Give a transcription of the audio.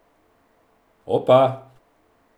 Opa!